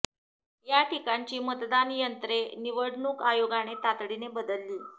या ठिकाणची मतदान यंत्रे निवडणूक आयोगाने तातडीने बदलली